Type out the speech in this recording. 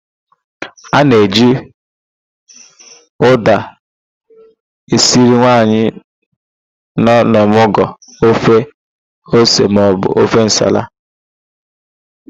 A na-eji ụ́dà esiri nwaanyị nọ n'ọmụgwọ ofe ose maọbụ ofe nsala.